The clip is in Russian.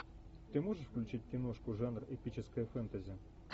ты можешь включить киношку жанр эпическое фэнтези